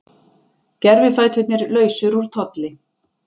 Gervifæturnir lausir úr tolli